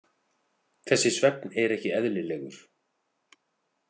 Þessi svefn er ekki eðlilegur.